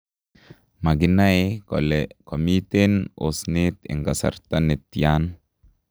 Makinae kole komiten osnet en kasarta netian.